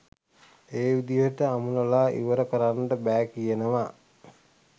ඒ විදිහට අමුණල ඉවර කරන්ට බෑ කියනව.